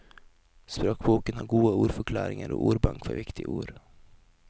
Språkboken har gode ordforklaringer og ordbank for viktige ord.